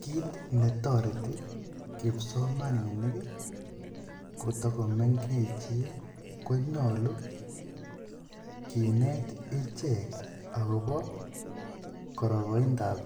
Kiit netoreti kipsomaninik koto komengechen konyolu kinet ichek akobo kororonindab